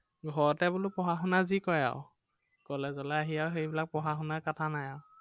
ঘৰতে বোলো পঢ়া-শুনা যি কৰে আৰু। college লে আহি আৰু সেইবিলাক পঢ়া-শুনাৰ কথা নাই আৰু।